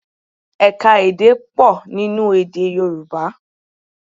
Ẹ̀ka-èdè pọ̀ nínú èdè Yorùbá